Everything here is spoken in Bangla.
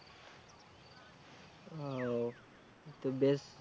ও তো বেশ